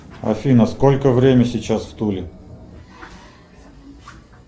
афина сколько время сейчас в туле